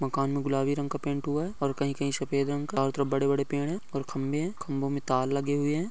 मकान मे गुलाबी रंग का पेंट हुआ है और कही कही षफेद रंग का और चारों तरफ बड़े-बड़े पेड़ है और खंबे है खंबों मे तार लगे हुए है।